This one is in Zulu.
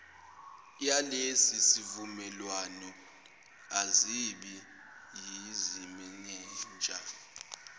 yalesisivumelwano azibi yizimenenja